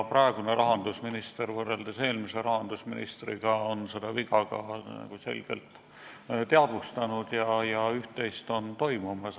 Praegune rahandusminister on võrreldes eelmise rahandusministriga seda viga ka selgelt teadvustanud ja üht-teist on toimumas.